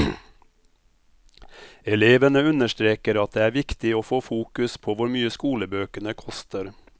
Elevene understreker at det er viktig å få fokus på hvor mye skolebøkene koster.